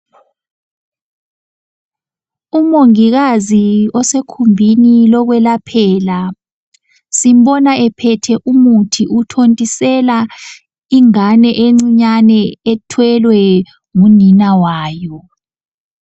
Umongikazi osekhumbini lokwelaphela, simbona ephethe umuthi uthontisela ingane encinyane ethwelwe ngunina wayo.